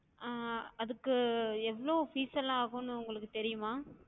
ஹம் அதுக்கு எவ்வளவு fees லாம் ஆகும்னு உங்களுக்குத் தெரியுமா?